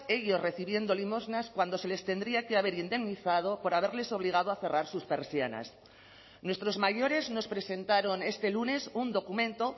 ellos recibiendo limosnas cuando se les tendría que haber indemnizado por haberles obligado a cerrar sus persianas nuestros mayores nos presentaron este lunes un documento